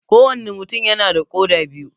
Ko wanne mutum yana da koda biyu